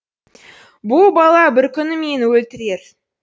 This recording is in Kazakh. бұ бала бір күні мені өлтірер